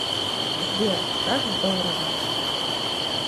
сбер как здорово